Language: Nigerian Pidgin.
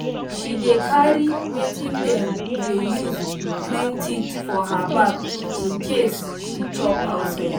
she dey carry wetin dem dey use clean teeth for her bag in case she chop outside